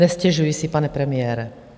Nestěžuji si, pane premiére.